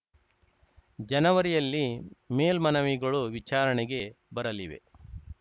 ಜನವರಿಯಲ್ಲಿ ಮೇಲ್ಮನವಿಗಳು ವಿಚಾರಣೆಗೆ ಬರಲಿವೆ